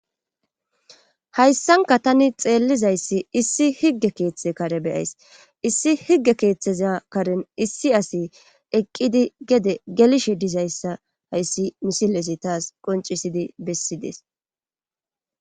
Hayssanka tani xeellizayssi issi higge keeththe kare beyays issi higge keeththeza karen issi asi eqqidi gede gelishe dizayssa hayssi misilesi taas qoncisidi bessidees.